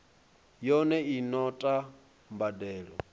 yone i no ta mbadelo